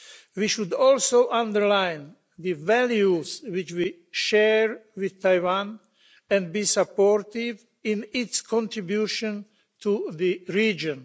We should also underline the values which we share with Taiwan and be supportive in its contribution to the region.